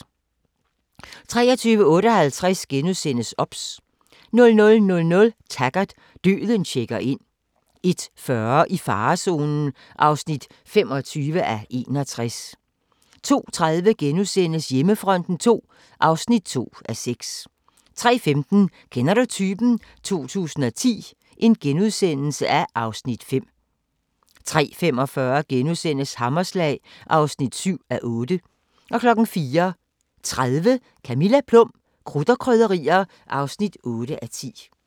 23:58: OBS * 00:00: Taggart: Døden checker ind 01:40: I farezonen (25:61) 02:30: Hjemmefronten II (2:6)* 03:15: Kender du typen? 2010 (Afs. 5)* 03:45: Hammerslag (7:8)* 04:30: Camilla Plum - krudt og krydderier (8:10)